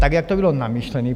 Tak jak to bylo myšlené?